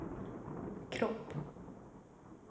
kropp